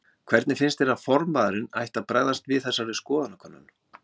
Hvernig finnst þér að formaðurinn ætti að bregðast við þessari skoðanakönnun?